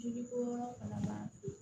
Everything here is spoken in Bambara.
Joli bɔ yɔrɔ fana ma